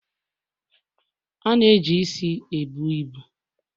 A na eji isi ebu ibu